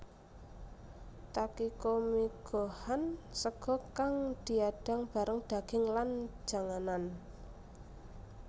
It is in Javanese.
Takikomigohan sega kang diadang bareng daging lan janganan